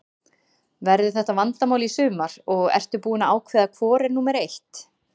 Verður þetta vandamál í sumar og ertu búinn að ákveða hvor er númer eitt?